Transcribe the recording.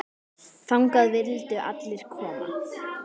Þangað vildu allir koma.